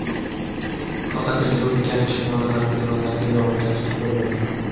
Faqat respublikaning shimoli-g‘arbiy tumanlarida yog‘ingarchilik bo‘lmaydi.